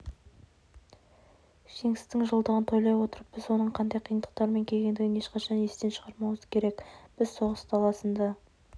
жеңістің жылдығын тойлай отырып біз оның қандай қиындықтармен келгендігін ешқашан естен шығармауымыз керек біз соғыс даласында